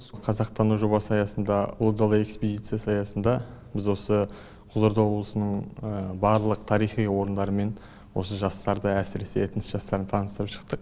қазақтану жобасы аясында ұлы дала экспедициясы аясында біз осы қызылорда облысының барлық тарихи орындарымен осы жастарды әсіресе этнос жастарын таныстырып шықтық